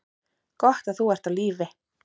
Gott að þú ert á lífi.